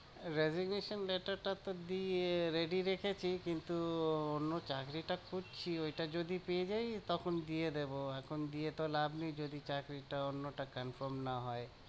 Remuneration letter টা তো দিয়ে ready রেখেছি, কিন্তু আহ অন্য চাকরিটা খুঁজছি ওইটা যদি পেয়ে যাই তখন দিয়ে দেবো, এখন দিয়ে তো লাভ নেই যদি চাকরিটা অন্যটা confirm না হয়।